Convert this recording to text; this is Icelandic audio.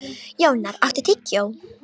Jónar, áttu tyggjó?